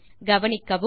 கவனிக்கவும்